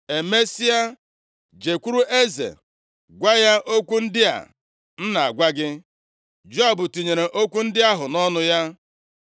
Emesịa, jekwuru eze, gwa ya okwu ndị a m na-agwa gị.” Joab tinyere okwu ndị ahụ nʼọnụ ya.